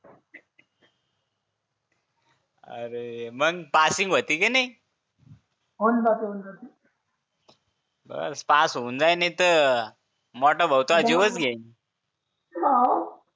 R माग passing होति की नय होईलपासबास पास होऊन जाईल तर मोठा भाऊ तर तुझा जीवच घेईन